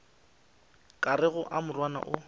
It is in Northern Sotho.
ka rego a morwana o